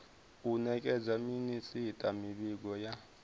u nekedza minisita mivhigo ya